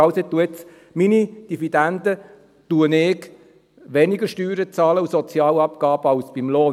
Also, ich bezahle jetzt auf meinen Dividenden weniger Steuern und Sozialabgaben als auf den Lohn.